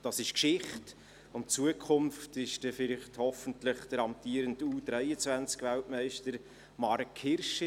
Das ist Geschichte – und Zukunft ist dann hoffentlich der amtierende U23-Weltmeister Marc Hirschi.